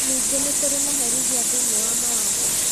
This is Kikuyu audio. Ningĩ nĩ kũrĩ maherithia thĩiniĩ wa mawatho